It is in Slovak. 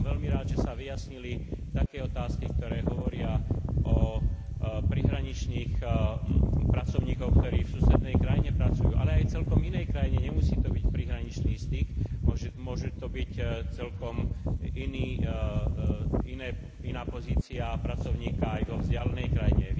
Som veľmi rád, že sa vyjasnili také otázky, ktoré hovoria o prihraničných pracovníkoch, ktorí v susednej krajine pracujú, ale aj celkom inej krajine, nemusí to byť prihraničný styk, môže to byť celkom iná pozícia pracovníka aj vo vzdialenej krajine.